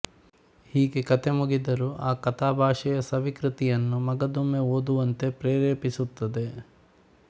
ಹೀಗೆ ಕಥೆ ಮುಗಿದರೂ ಆ ಕಥಾಭಾಷೆಯ ಸವಿ ಕೃತಿಯನ್ನು ಮಗದೊಮ್ಮೆ ಓದುವಂತೆ ಪ್ರೇರೇಪಿಸುತ್ತದೆ